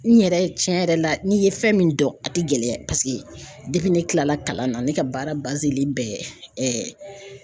N yɛrɛ tiɲɛ yɛrɛ la n'i ye fɛn min dɔn a tɛ gɛlɛya paseke ne kilala kalan na ne ka baara bɛ